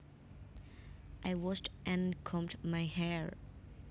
I washed and combed my hair